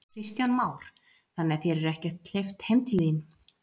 Kristján Már: Þannig að þér er ekkert hleypt heim til þín?